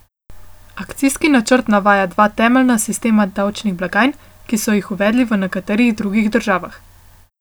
Akcijski načrt navaja dva temeljna sistema davčnih blagajn, ki so jih uvedli v nekaterih drugih državah.